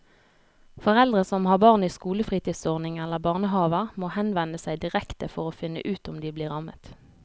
Foreldre som har barn i skolefritidsordning eller barnehaver må henvende seg direkte for å finne ut om de blir rammet.